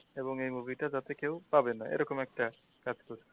এবং এই movie টা যাতে কেউ পাবেনা এরকম একটা ব্যাপার